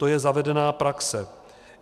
To je zavedená praxe.